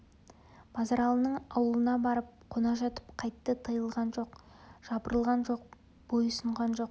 базаралының аулына барып қона жатып қайтты тыйылған жоқ жапырылған жоқ бойсұнған жоқ